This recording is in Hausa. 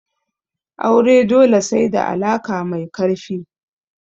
Aure dole sai da alaka mai karfi.